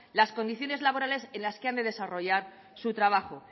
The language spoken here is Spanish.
las condiciones laborales en las que han de desarrollar su trabajo